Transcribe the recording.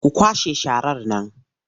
Ku kwashe sharar nan!